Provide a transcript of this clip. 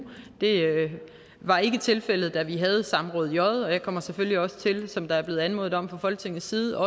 det var ikke tilfældet da vi havde samråd j og jeg kommer selvfølgelig også til som der er blevet anmodet om fra folketingets side